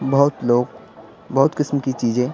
बहुत लोग बहुत किस्म की चीजें--